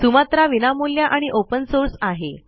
Sumatra विनामूल्य आणि open source आहे